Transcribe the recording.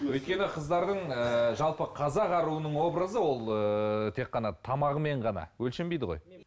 өйткені қыздардың ыыы жалпы қазақ аруының образы ол ыыы тек қана тамағымен ғана өлшенбейді ғой